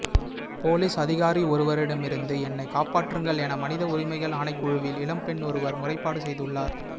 police அதிகாரியொருவரிடமிருந்து என்னை காப்பாற்றுங்கள் என மனித உரிமைகள் ஆணைக்குழுவில் இளம்பெண்ணொருவர் முறைப்பாடு செய்துள்ளார்